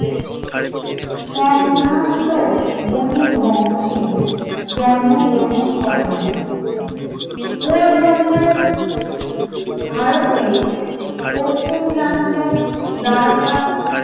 সম্ভ্রান্ত বণিক বংশে জন্মগ্রহণ করেন । পোরবন্দর ভারতে পশ্চিম প্রান্তে বলাকা